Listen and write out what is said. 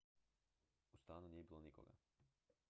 u stanu nije bilo nikoga